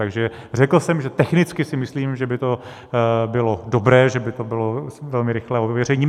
Takže řekl jsem, že technicky si myslím, že by to bylo dobré, že by to bylo velmi rychlé ověření.